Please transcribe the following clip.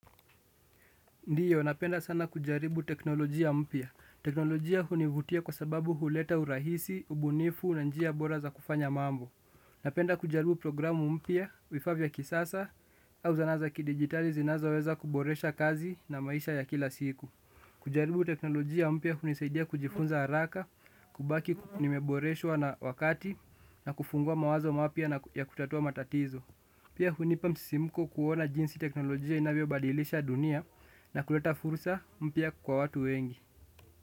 Ndiyo, napenda sana kujaribu teknolojia mpya. Teknolojia hunivutia kwa sababu huleta urahisi, ubunifu, na njia bora za kufanya mambo. Napenda kujaribu programu mpya, vifaa vya kisasa, au zana za kidigitali zinazoweza kuboresha kazi na maisha ya kila siku. Kujaribu teknolojia mpya hunisaidia kujifunza haraka, kubaki nimeboreshwa na wakati, na kufungua mawazo mapya ya kutatua matatizo. Pia hunipa msisimko kuona jinsi teknolojia inavyobadilisha dunia na kuleta fursa mpya kwa watu wengi.